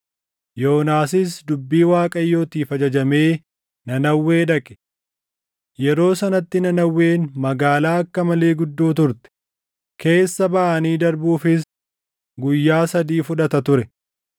Yoonaasis dubbii Waaqayyootiif ajajamee Nanawwee dhaqe. Yeroo sanatti Nanawween magaalaa akka malee guddoo turte; keessa baʼanii darbuufis guyyaa sadii fudhata ture.